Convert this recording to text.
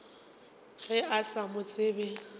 ge o sa mo tsebe